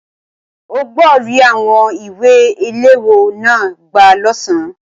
O gbọ ri àwọn ìwé iléwọ́ náà gbà l'ọsan.